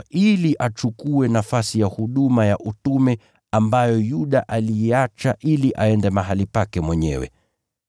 ili achukue nafasi ya huduma ya utume ambayo Yuda aliiacha ili aende mahali pake mwenyewe.”